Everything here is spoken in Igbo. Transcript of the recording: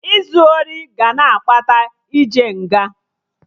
Izu ori ga na-akpata ije nga